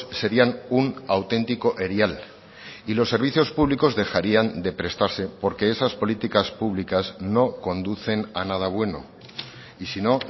serían un auténtico erial y los servicios públicos dejarían de prestarse porque esas políticas públicas no conducen a nada bueno y si no